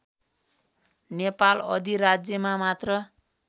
नेपाल अधिराज्यमा मात्र